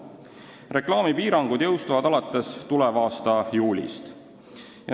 Reklaamipiirangud jõustuvad alates tuleva aasta juulist.